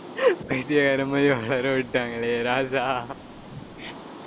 பைத்தியக்காரன் மாதிரி உளரவிட்டாங்களே ராஜா